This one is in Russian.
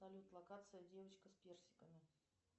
салют локация девочка с персиками